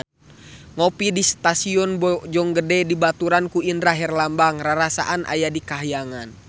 Ngopi di Stasiun Bojonggede dibaturan ku Indra Herlambang rarasaan aya di kahyangan